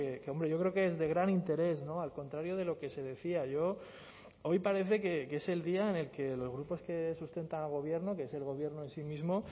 que hombre yo creo que es de gran interés al contrario de lo que se decía yo hoy parece que es el día en el que los grupos que sustentan al gobierno que es el gobierno en sí mismo